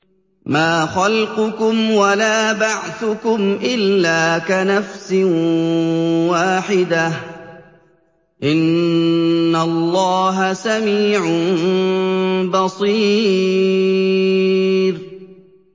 مَّا خَلْقُكُمْ وَلَا بَعْثُكُمْ إِلَّا كَنَفْسٍ وَاحِدَةٍ ۗ إِنَّ اللَّهَ سَمِيعٌ بَصِيرٌ